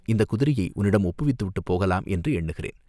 இந்தக் குதிரையை உன்னிடம் ஒப்புவித்து விட்டுப் போகலாம் என்று எண்ணுகிறேன்.